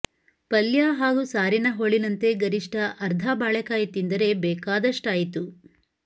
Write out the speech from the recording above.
ಪಲ್ಯ ಹಾಗೂ ಸಾರಿನ ಹೋಳಿನಂತೆ ಗರಿಷ್ಠ ಅರ್ಧ ಬಾಳೆಕಾಯಿ ತಿಂದರೆ ಬೇಕಾದಷ್ಟಾಯಿತು